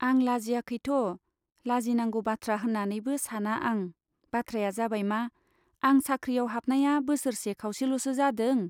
आं लाजियाखैथ', लाजिनांगौ बाथ्रा होन्नानैबो साना आं बाथ्राया जाबायमा, आं साख्रियाव हाबनाया बोसोरसे खाउसेल'सो जादों।